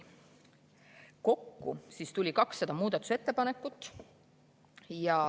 Kokku tuli 200 muudatusettepanekut.